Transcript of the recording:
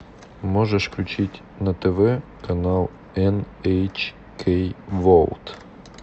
можешь включить на тв канал эн эйч кей ворлд